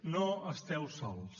no esteu sols